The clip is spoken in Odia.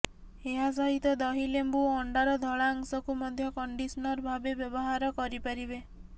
ଏହା ସହିତ ଦହି ଲେମ୍ବୁ ଓ ଅଣ୍ଡାର ଧଳା ଅଂଶକୁ ମଧ୍ୟ କଣ୍ଡିସନର ଭାବେ ବ୍ୟବହାର କରିପାରିବେ